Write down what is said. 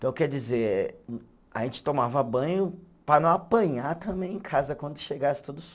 Então, quer dizer, a gente tomava banho para não apanhar também em casa quando chegasse tudo